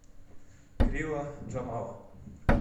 крила джамала